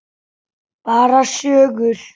Bara sögur.